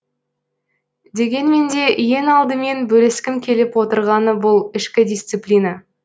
дегенмен де ең алдымен бөліскім келіп отырғаны бұл ішкі дисциплина